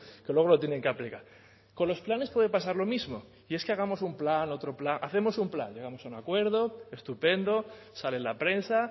que luego lo tienen que aplicar con los planes puede pasar lo mismo y es que hagamos un plan otro plan hacemos un plan hacemos un acuerdo estupendo sale en la prensa